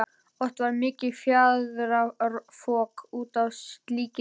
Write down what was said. Oft varð mikið fjaðrafok út af slíku.